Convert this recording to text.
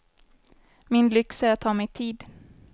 Min lyx är att ta mig tid.